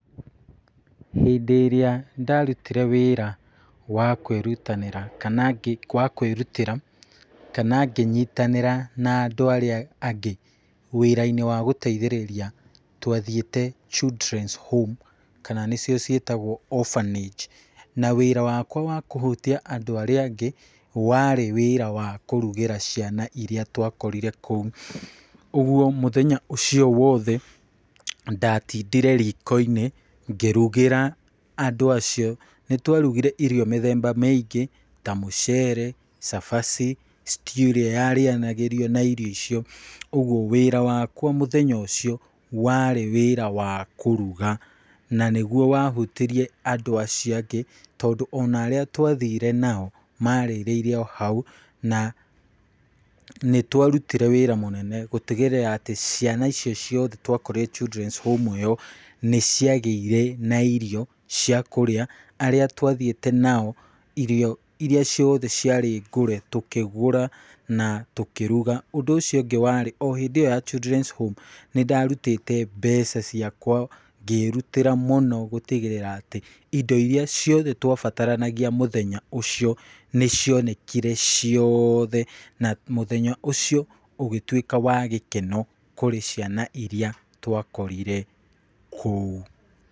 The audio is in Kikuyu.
Hĩndĩ ĩrĩa ndarutire wĩra wa kwĩrutanĩra , kana wa kwĩrutĩra ,kana nginyitanĩra na andũ arĩa angĩ wĩra-inĩ wa gũteithĩrĩria , twa thiĩte Children´s home, kana nĩcio ciĩtagwo Opharnage, na wĩra wakwa wakũhutia arĩa angĩ warĩ wĩra wa kũrugĩra ciana iria twakorire kũu, ũgwo mũthenya ũcio wothe , ndatindire riko-inĩ ngĩrugĩra andũ acio, nĩ twa rugire irio mĩthemba mĩingĩ ta mũcere, cabaci , stew ĩrĩa yarĩanagĩrio na irio icio, ũgwo wĩra wakwa mũthenya ũcio warĩ wĩra wa kũruga , na nĩgwo wahutirie andũ acio angĩ , tondũ ona arĩa twathire nao marĩrĩire o hau, na nĩ twarutire wĩra mũnene gũtigĩrĩra atĩ ciana icio ciothe twakorire Childrens Home ĩyo, nĩ ciagĩire na irio ciakũrĩa, arĩa twathiĩte nao irio ciothe ciarĩ ngũre tũkĩgũra na tũkĩruga, ũndũ ũcio ũngĩ warĩ o hĩndĩ ĩyo ya Childrens Home nĩ ndarutite mbeca ciakwa, ngĩrutĩra mũno gũtigĩrĩra atĩ indo iria ciothe twabaranagia mũthenya ũcio nĩ cionekire ciothe, na mũthenya ũcio ũgĩtwĩka wa gĩkeno kũrĩ ciana iria twakorire kũu.